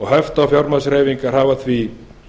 höft á fjármagnshreyfingar hafa því